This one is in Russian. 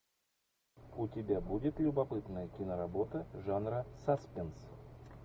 у тебя будет любопытная киноработа жанра саспенс